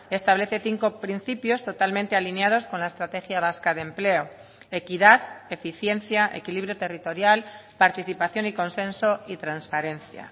establece cinco principios totalmente alineados con la estrategia vasca de empleo equidad eficiencia equilibrio territorial participación y consenso y transparencia